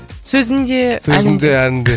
сөзін де сөзін де әнін де